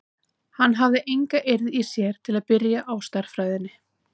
Hann hafði enga eirð í sér til að byrja á stærðfræðinni.